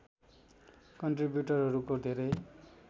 कन्ट्रिब्युटरहरूको धेरै